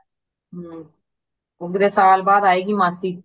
ਹੰ ਹੁਣ ਕਿਧਰੇ ਸਾਲ ਬਾਦ ਆਏਗੀ ਮਾਸੀ